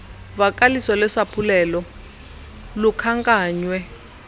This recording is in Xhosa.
vakaliso lwesaphulelo lukhankanywe